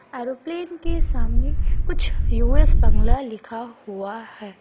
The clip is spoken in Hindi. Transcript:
एरोप्लेन के सामने कुछ यु.एस. बंगला लिखा हुआ है।